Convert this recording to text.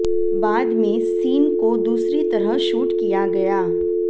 बाद में सीन को दूसरी तरह शूट किया गया